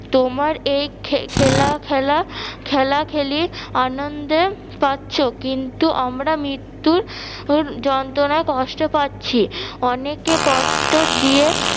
তোমার এই খে~ খেলা খেলা খেলা খেলি আনন্দের পাচ্ছ কিন্তু আমরা মৃত্যু উর যন্ত্রনায় কষ্ট পাচ্ছি, অনেকে কষ্ট দিয়ে